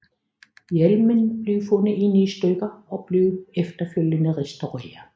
Hjelmen blev fundet i ni stykker og blev efterfølgende restaureret